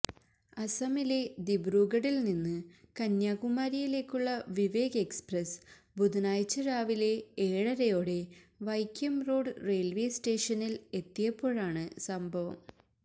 അസമിലെ ദിബ്രൂഗഡിൽനിന്ന് കന്യാകുമാരിയിലേക്കുള്ള വിവേക് എക്സ്പ്രസ് ബുധനാഴ്ച രാവിലെ ഏഴരയോടെ വൈക്കം റോഡ് റെയിൽവേ സ്േറ്റഷനിൽ എത്തിയപ്പോഴാണ് സംഭവം